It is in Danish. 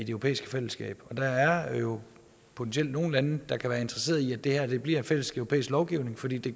europæiske fællesskaber der er jo potentielt nogle lande der kan være interesserede i at det her bliver en fælles europæisk lovgivning fordi det